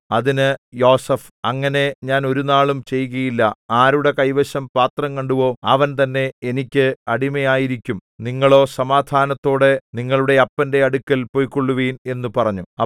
അതിന് യോസേഫ് അങ്ങനെ ഞാൻ ഒരുനാളും ചെയ്യുകയില്ല ആരുടെ കൈവശം പാത്രം കണ്ടുവോ അവൻ തന്നെ എനിക്ക് അടിമയായിരിക്കും നിങ്ങളോ സമാധാനത്തോടെ നിങ്ങളുടെ അപ്പന്റെ അടുക്കൽ പൊയ്ക്കൊള്ളുവിൻ എന്നു പറഞ്ഞു